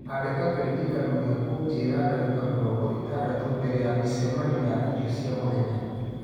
Andĩka kĩririkano gĩa kũnjĩra ndagĩka mĩrongo ĩtandatũ mbere ya mĩcemanio ya irio cia mũthenya